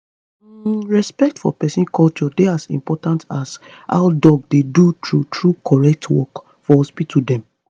hmmm respect for peson culture dey as important as how dem dey do true true correct work for hospital dem.